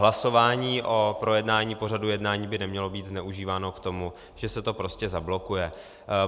Hlasování o projednání pořadu jednání by nemělo být zneužíváno k tomu, že se to prostě zablokuje.